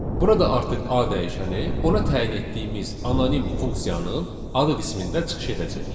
Burada artıq A dəyişəni ona təyin etdiyimiz anonim funksiyanın adı qismində çıxış edəcək.